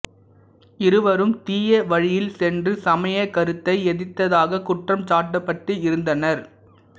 இருவரும் தீய வழியில் சென்று சமய கருத்தை எதிர்த்ததாகக் குற்றம் சாட்டப்பட்டு இருந்தனர்